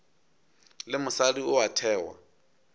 le mosadi o a thewa